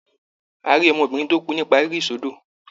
A rí ọmọbìnrin tó kú nípa rírí sódò.